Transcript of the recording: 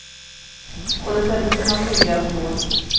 Och det sätter sina tydliga spår.